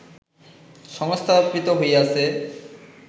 সংস্থাপিত হইয়াছে